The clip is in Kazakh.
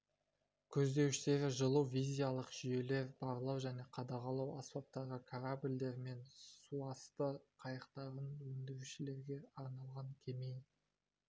көздеуіштері жылу визиялық жүйелер барлау және қадағалау аспаптары корабльдер мен суасты қайықтарын өндірушілерге арналған кеме